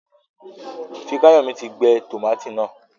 Fikayomi tí gbé tomati náa.